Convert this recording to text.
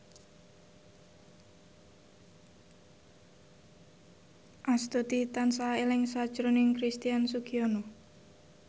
Astuti tansah eling sakjroning Christian Sugiono